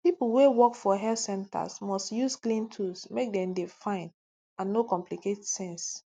pipo wey work for health centers must use clean tools make dem dey fine and no complicate tings